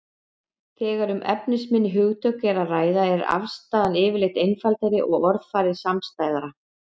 Þegar um efnisminni hugtök er að ræða er afstaðan yfirleitt einfaldari og orðafarið samstæðara.